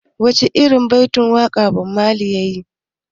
Wace irin baitin waƙa Bob Marley yayi?